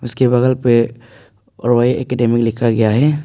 उसके बगल पे रॉय एकेडमी लिखा गया है।